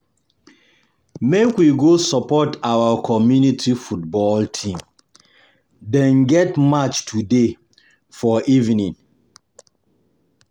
If you no come um dis family um reunion, you go miss plenty um gist o.